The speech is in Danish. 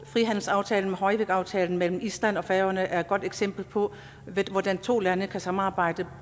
frihandelsaftalen hoyvíkaftalen mellem island og færøerne er et godt eksempel på hvordan to lande kan samarbejde